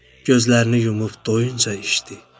Gözlərini yumub doyunca içdi.